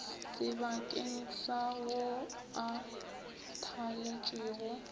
sebakeng sa ao a thaletšwego